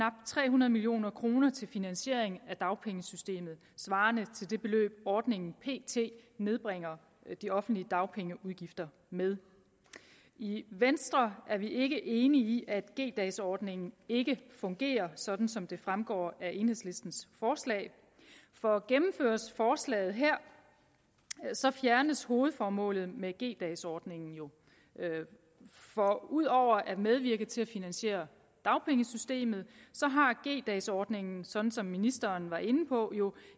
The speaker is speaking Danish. tre hundrede million kroner til finansiering af dagpengesystemet svarende til det beløb ordningen pt nedbringer de offentlige dagpengeudgifter med i venstre er vi ikke enige i at g dags ordningen ikke fungerer sådan som det fremgår af enhedslistens forslag for gennemføres forslaget her så fjernes hovedformålet med g dags ordningen jo for ud over at medvirke til at finansiere dagpengesystemet har g dags ordningen sådan som ministeren var inde på jo